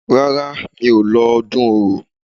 Rárá, mi ò lọ ọdún Orò.